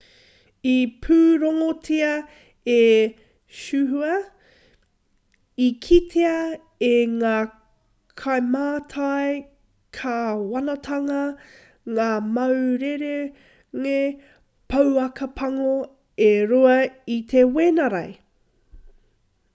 i pūrongotia e xinhua i kitea e ngā kaimātai kāwanatanga ngā mau rerenga pouaka pango e rua i te wenerei